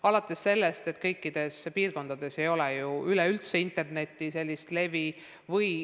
Alates sellest, et kõikides piirkondades ei ole ju üleüldse korralikku internetilevi.